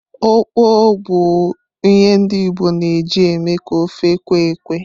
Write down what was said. Okpor bụ ihe ndi Igbo na eji eme ka ofe kwe-ekwe.